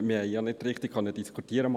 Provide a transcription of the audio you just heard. Wir konnten nicht richtig diskutieren.